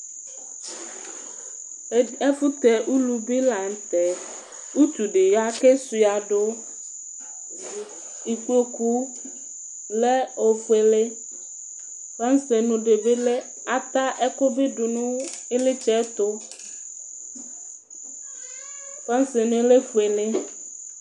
ɛfu tɛ ulu bi la n'tɛ, utu di ya k'esuadu, ikpoku lɛ ofuele, fasrenu di bi lɛ, ata ɛku bi di bu iɣlitse tu, fansrenu lɛ di